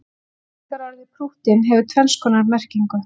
lýsingarorðið prúttinn hefur tvenns konar merkingu